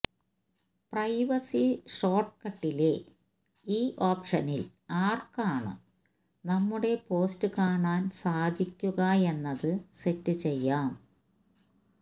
privacy ഷോർട്കട്ടിലെ ഈ ഓപ്ഷനിൽ ആർക്കാണ് നമ്മുടെ പോസ്റ്റ് കാണാൻ സാധിക്കുകയെന്നത് സെറ്റ് ചെയ്യാം